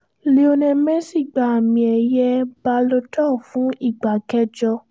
lionel messi gba àmì ẹ̀yẹ balo dor fún ìgbà kẹjọ